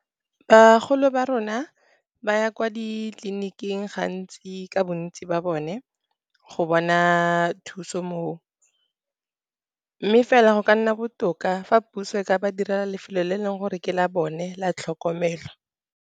Bagolo ba rona ba ya kwa ditleliniking gantsi ka bontsi ba bone, go bona thuso moo. Mme fela go ka nna botoka fa puso e ka ba direla lefelo le e leng gore ke la bone la tlhokomelo.